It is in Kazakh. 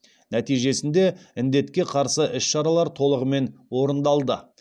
нәтижесінде індетке қарсы іс шаралар толығымен орындалды